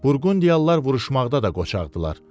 Burqundiyalılar vuruşmaqda da qoçaqdırlar.